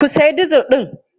Kun sayi dizil ɗin?